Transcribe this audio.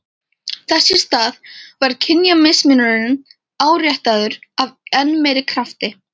Þess í stað var kynjamismunurinn áréttaður af enn meiri krafti.